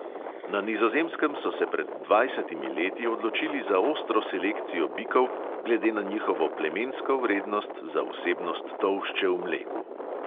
Na nizozemskem so se pred dvajsetimi leti odločili za ostro selekcijo bikov glede na njihovo plemensko vrednost za vsebnost tolšče v mleku.